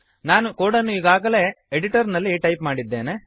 ನಾನು ಕೋಡನ್ನು ಈಗಾಗಲೇ ಎಡಿಟರ್ನಲ್ಲಿ ಟೈಪ್ ಮಾಡಿದ್ದೇನೆ